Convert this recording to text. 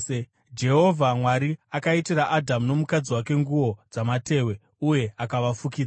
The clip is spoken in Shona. Jehovha Mwari akaitira Adhamu nomukadzi wake nguo dzamatehwe uye akavafukidza.